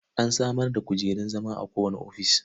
An samar da kujerun zama a kowane ofis.